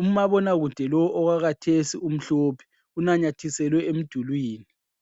Umabonakude lo owakathesi umhlophe unanyathiselwe emdulini.